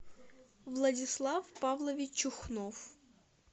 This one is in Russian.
владислав павлович чухнов